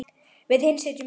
Við hin sitjum eftir.